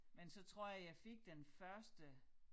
Men så tror jeg jeg fik den første